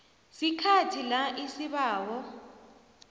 sikhathi la isibawo